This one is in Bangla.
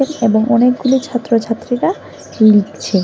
এবং অনেকগুলি ছাত্রছাত্রীরা লিখছে।